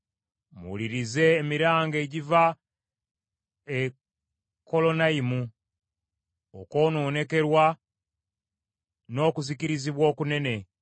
Muwulirize emiranga egiva e Kolonayimu, okwonoonekerwa n’okuzikirizibwa okunene.